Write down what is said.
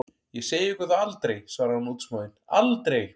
Ég segi ykkur það aldrei, svarði hún útsmogin, aldrei!